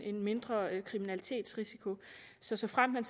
en mindre kriminalitetsrisiko så såfremt man